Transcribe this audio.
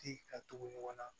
Di ka tugu ɲɔgɔn na